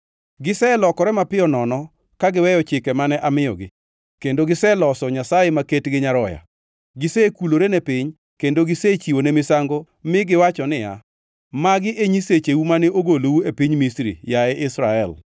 Giselokore mapiyo nono ka giweyo chike mane amiyogi kendo giseloso nyasaye maket gi nyaroya. Gisekulorene piny kendo gisechiwone misango mi giwacho niya, “Magi e nyisecheu mane ogolou e piny Misri, yaye Israel.”